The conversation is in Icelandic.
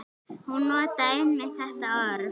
Hún notaði einmitt þetta orð.